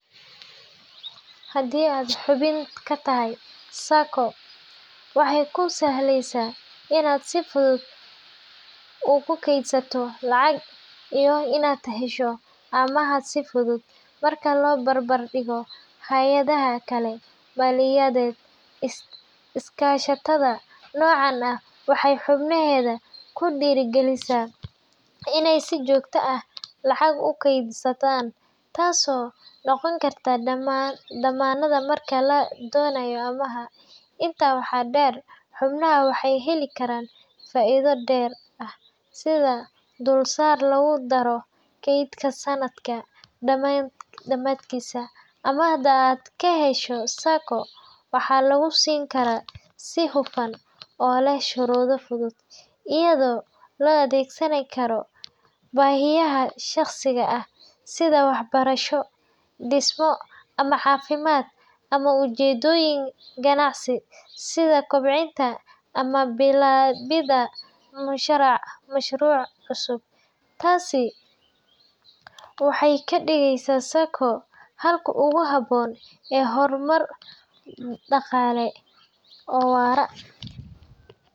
Haddii aad xubin ka tahay SACCO, waxay kuu sahlaysaa inaad si fudud u kaydsato lacag iyo inaad hesho amaah si fudud marka loo barbardhigo hay’adaha kale maaliyadeed. Iskaashatada noocan ah waxay xubnaheeda ku dhiirrigelisaa inay si joogto ah lacag u kaydsadaan, taasoo noqon karta dammaanad marka la doonayo amaah. Intaa waxaa dheer, xubnaha waxay heli karaan faa’iido dheeri ah sida dulsaar lagu daro kaydka sanadka dhammaadkiisa. Amaahda aad ka hesho SACCO waxaa lagu siin karaa si hufan oo leh shuruudo fudud, iyadoo loo adeegsan karo baahiyaha shaqsiga ah sida waxbarasho, dhismo ama caafimaad, ama ujeedooyin ganacsi sida kobcinta ama bilaabidda mashruuc cusub. Taasi waxay ka dhigeysaa SACCO xalka ugu habboon ee horumar dhaqaale oo waara.